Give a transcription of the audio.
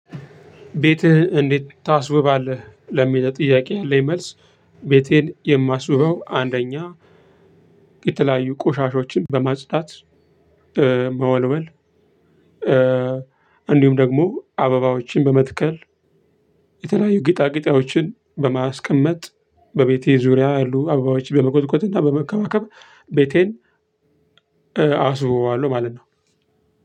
ቤትህ እንዴት ታስውባለህ ለሚለው ጥያቄ ያለኝ መልስ። ቤቴን የማስውበው አንደኛ የተለያዩ ቆሻሾችን በማጽዳት መወልወል። እንዲሁም ደግሞ አበባዎችን በመትከል የተለያዩ ጌጣጌጣዎችን በማስቀመጥ በቤቴ ዙሪያ አሉ አበባዎች በመኮትኮት እና በመከባከብ። ቤቴን አስውበዋለሁ ማለት ነው።